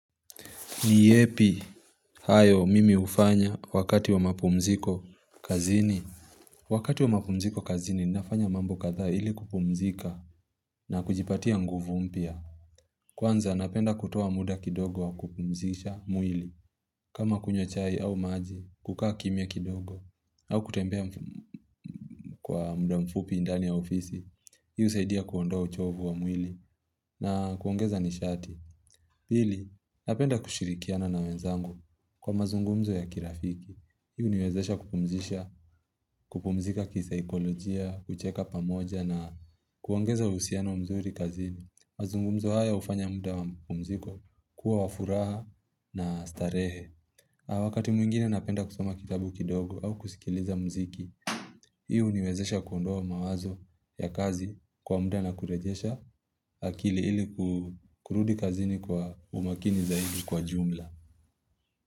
Ni yepi hayo mimi hufanya wakati wa mapumziko kazini Wakati wa mapumziko kazini nafanya mambo kadhaa ili kupumzika na kujipatia nguvu mpya Kwanza napenda kutuoa muda kidogo kupumzisha mwili kama kunywa chai au maji kukaa kimya kidogo au kutembea mm Kwa muda mfupi ndani ya ofisi Hii husaidia kuondoa uchovu wa mwili na kuongeza nishati pili Napenda kushirikiana na wenzangu Kwa mazungumzo ya kirafiki, hii huniwezesha kupumzika kisaikolojia, kucheka pamoja na kuongeza uhusiano wa mzuri kazini. Mazungumzo haya hufanya muda wa pumziko kuwa wa furaha na starehe. Wakati mwingine napenda kusoma kitabu kidogo au kusikiliza mziki, hii huniwezesha kuondoa mawazo ya kazi kwa muda na kurejesha akili ili kurudi kazini kwa umakini zaidi kwa jumla.